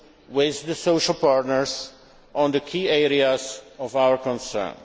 focus, with the social partners, on the key areas of concern.